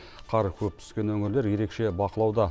қар көп түскен өңірлер ерекше бақылауда